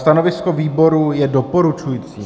Stanovisko výboru je doporučující.